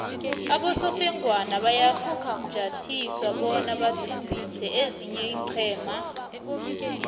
abosofengwana bayafunjathiswa bona bathumbise ezinye iinqhema